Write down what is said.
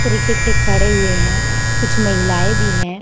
तारिके से खड़े हुए है कुछ महिलाएं भी है।